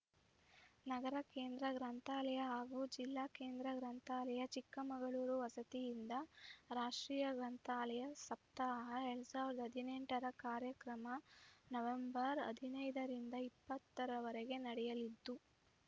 ನಗರ ಕೇಂದ್ರ ಗ್ರಂಥಾಲಯ ಹಾಗೂ ಜಿಲ್ಲಾ ಕೇಂದ್ರ ಗ್ರಂಥಾಲಯ ಚಿಕ್ಕಮಗಳೂರು ವಸತಿಯಿಂದ ರಾಷ್ಟ್ರೀಯ ಗ್ರಂಥಾಲಯ ಸಪ್ತಾಹ ಎರಡ್ ಸಾವಿರದ ಹದಿನೆಂಟರ ಕಾರ್ಯಕ್ರಮ ನವೆಂಬರ್ ಹದಿನೈದರಿಂದ ಇಪ್ಪತ್ತರವರೆಗೆ ನಡೆಯಲಿದ್ದು